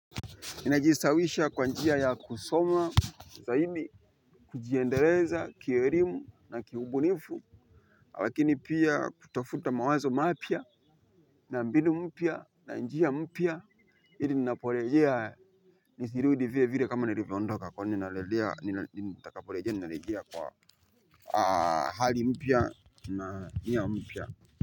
Ninajistawisha kwa njia ya kusoma zaidi kujiendeleza kielimu na kiubunifu. Lakini pia kutafuta mawazo mapya na mbinu mpya na njia mpya ili ninaporejea, nisirudi vile vile kama nilivyoondoka kwani nitakaporejea narejea kwa hali mpya na nia mpya.